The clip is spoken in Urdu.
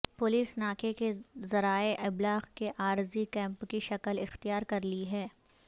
پولیس ناکے نے ذرائع ابلاغ کے عارضی کیمپ کی شکل اختیار کر لی ہے